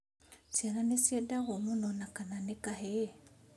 Ciana nĩciendagwo mũno na kana nĩ kahĩĩ